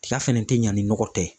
Tiga fɛnɛ tɛ ɲa ni nɔgɔ tɛ ye.